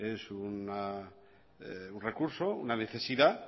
es un recurso una necesidad